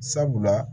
Sabula